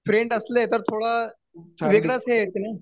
friend असले ना तर थोडं वेगळंच हे येत ना